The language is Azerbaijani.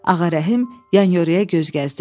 Ağarəhim yan-yörəyə göz gəzdirdi.